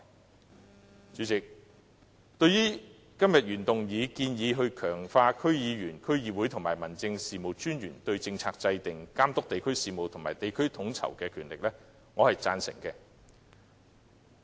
代理主席，對今天原議案建議強化區議員、區議會和民政事務專員對政策制訂、監督地區事務及地區統籌的權力，我是贊成的。